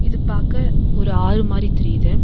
இது பாக்க ஒரு ஆறு மாரி தெரியிது.